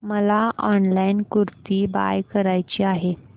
मला online kurti buy करायची आहे